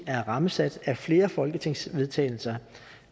er rammesat af flere folketingsvedtagelser